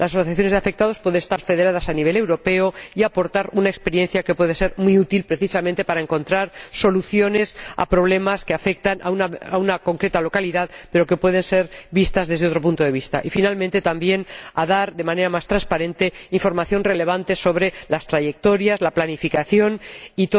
Las asociaciones de afectados pueden estar federadas a nivel europeo y aportar una experiencia que puede ser muy útil, precisamente, para encontrar soluciones a problemas que afectan a una localidad concreta pero que pueden ser vistos desde otro punto de vista. También consideramos que debería darse de manera más transparente la información relevante sobre las trayectorias, la planificación